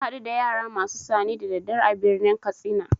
Na hadu da yara masu sane da daddare a birnin katsina.